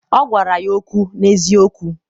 ọ gwara ya okwu n’eziokwu.